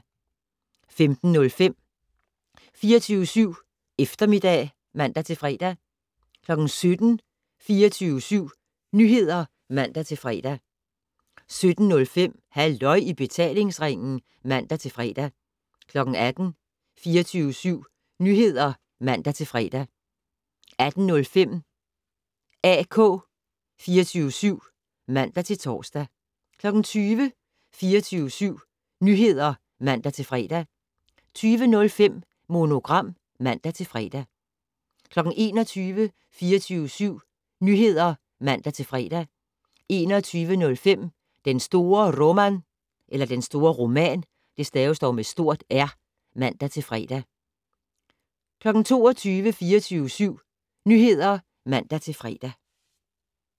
15:05: 24syv Eftermiddag (man-fre) 17:00: 24syv Nyheder (man-fre) 17:05: Halløj i betalingsringen (man-fre) 18:00: 24syv Nyheder (man-fre) 18:05: AK 24syv (man-tor) 20:00: 24syv Nyheder (man-fre) 20:05: Monogram (man-fre) 21:00: 24syv Nyheder (man-fre) 21:05: Den store Roman (man-fre) 22:00: 24syv Nyheder (man-fre)